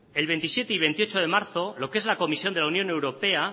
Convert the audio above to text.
el veintisiete y veintiocho de marzo lo que es la comisión de la unión europea